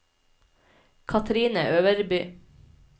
Kathrine Øverby